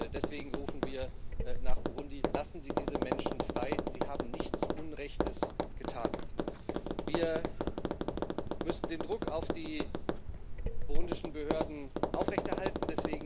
Deswegen rufen wir nach Burundi Lassen Sie diese Menschen frei, sie haben nichts Unrechtes getan. Wir müssen den Druck auf die burundischen Behörden aufrechterhalten.